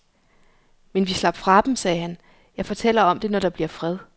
Men vi slap fra dem, sagde han, jeg fortæller om det når der bliver fred.